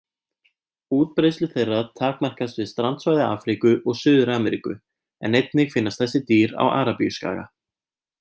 Útbreiðslu þeirra takmarkast við strandsvæði Afríku og Suður-Ameríku en einnig finnast þessi dýr á Arabíuskaga.